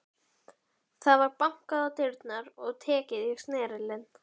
Það var bankað á dyrnar og tekið í snerilinn.